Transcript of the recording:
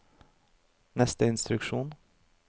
neste instruksjon